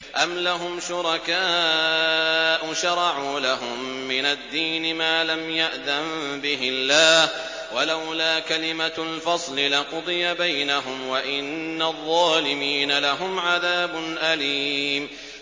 أَمْ لَهُمْ شُرَكَاءُ شَرَعُوا لَهُم مِّنَ الدِّينِ مَا لَمْ يَأْذَن بِهِ اللَّهُ ۚ وَلَوْلَا كَلِمَةُ الْفَصْلِ لَقُضِيَ بَيْنَهُمْ ۗ وَإِنَّ الظَّالِمِينَ لَهُمْ عَذَابٌ أَلِيمٌ